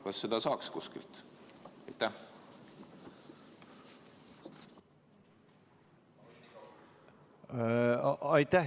Kas seda saaks kuskilt?